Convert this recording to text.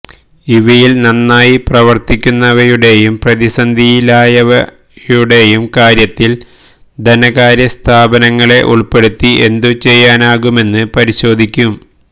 ഇവയിൽ നന്നായി പ്രവർത്തിക്കുന്നവയുടെയും പ്രതിസന്ധിയിലായവയുടെയും കാര്യത്തിൽ ധനകാര്യ സ്ഥാപനങ്ങളെ ഉൾപ്പെടുത്തി എന്തു ചെയ്യാനാകുമെന്ന് പരിശോധിക്കും